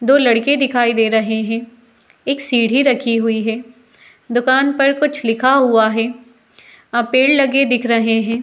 दो लड़के दिखाई दे रहे हैं। एक सीढ़ी रखी हुई है। दुकान पर कुछ लिखा हुआ है। पेड़ लगे दिख रहे है।